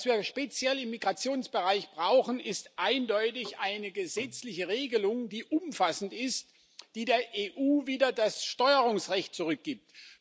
Was wir speziell im Migrationsbereich brauchen, ist eindeutig eine gesetzliche Regelung, die umfassend ist, die der EU wieder das Steuerungsrecht zurückgibt.